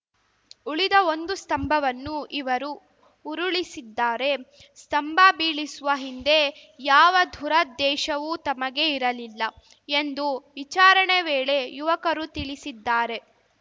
ಉಳಿದ ಒಂದು ಸ್ತಂಭವನ್ನು ಇವರು ಉರುಳಿಸಿದ್ದಾರೆ ಸ್ತಂಭ ಬೀಳಿಸುವ ಹಿಂದೆ ಯಾವ ದುರದ್ದೇಶವೂ ತಮಗೆ ಇರಲಿಲ್ಲ ಎಂದು ವಿಚಾರಣೆ ವೇಳೆ ಯುವಕರು ತಿಳಿಸಿದ್ದಾರೆ